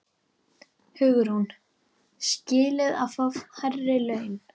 Hugrún: Skilið að fá hærri laun?